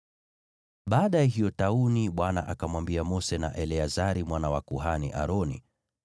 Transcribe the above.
Baada ya hiyo tauni, Bwana akamwambia Mose na Eleazari mwana wa kuhani Aroni,